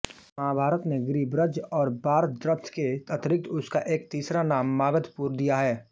महाभारत ने गिरिब्रज और बार्हद्रथ के अतिरिक्त उसका एक तीसरा नाम मागधपुर दिया है